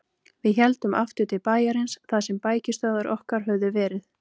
Við héldum aftur til bæjarins þar sem bækistöðvar okkar höfðu verið.